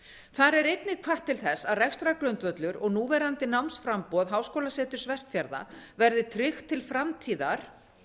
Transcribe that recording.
þar er einnig hvatt til þess að rekstrargrundvöllur og núverandi námsframboð háskólaseturs vestfjarða verði tryggt til framtíðar